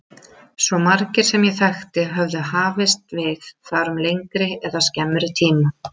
Svo margir sem ég þekkti höfðu hafst við þar um lengri eða skemmri tíma.